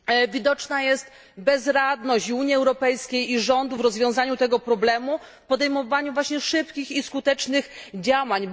Widoczna jest bezradność i Unii Europejskiej, i rządów w rozwiązaniu tego problemu, w podejmowaniu właśnie szybkich i skutecznych działań.